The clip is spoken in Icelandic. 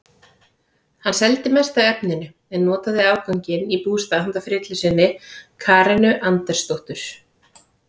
Hann seldi mest af efninu en notaði afganginn í bústað handa frillu sinni Karenu Andersdóttur.